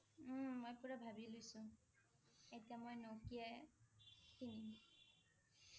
উম মই পুৰা ভাৱি লৈছোঁ । এতিয়া মই Nokia এ কিনিম